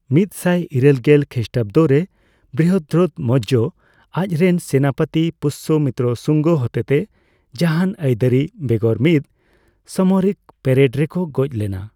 ᱢᱤᱛᱥᱟᱭ ᱤᱨᱟᱹᱞ ᱜᱮᱞ ᱠᱷᱤᱥᱴᱟᱵᱫᱚ ᱨᱮ, ᱵᱨᱤᱦᱚᱫᱨᱚᱛᱷ ᱢᱳᱣᱡᱚ, ᱟᱡᱽᱨᱮᱱ ᱥᱮᱱᱟᱯᱚᱛᱤ ᱯᱩᱥᱥᱚᱢᱤᱛᱨᱚ ᱥᱩᱝᱜᱚ ᱦᱚᱛᱮᱛᱮ, ᱡᱟᱸᱦᱟᱱ ᱟᱹᱭᱫᱟᱹᱨᱤ ᱵᱮᱜᱚᱨ ᱢᱤᱫ ᱥᱟᱢᱚᱨᱤᱠ ᱯᱮᱨᱮᱰ ᱨᱮᱠᱚ ᱜᱚᱡ ᱞᱮᱱᱟ ᱾